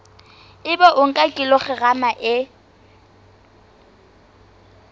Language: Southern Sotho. ebe o nka kilograma e